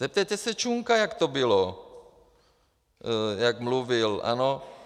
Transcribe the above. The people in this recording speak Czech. Zeptejte se Čunka, jak to bylo, jak mluvil, ano?